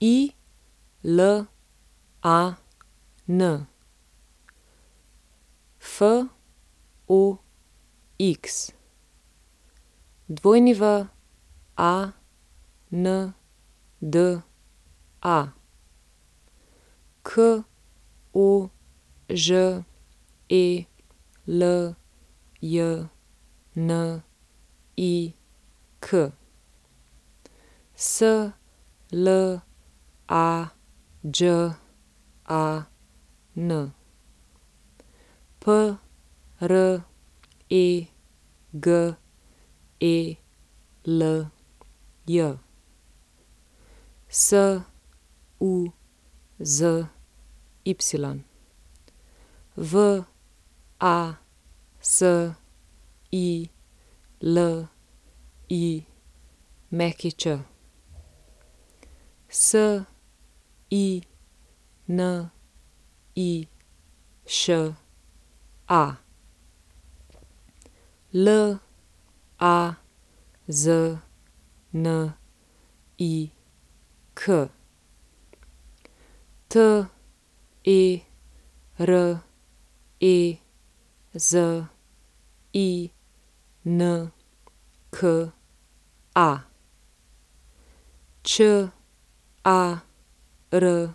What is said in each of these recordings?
Ilan Fox, Wanda Koželjnik, Slađan Pregelj, Suzy Vasilić, Siniša Laznik, Terezinka Čarapić,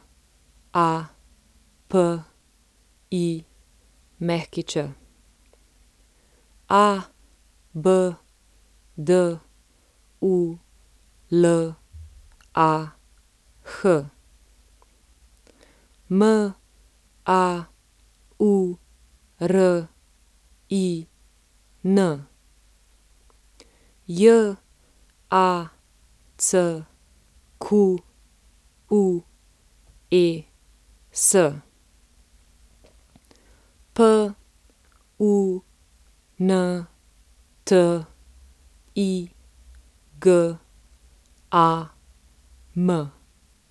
Abdulah Maurin, Jacques Puntigam.